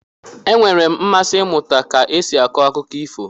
E nweela m mmasị ịmụta ka esi akọ akụkọ ifo.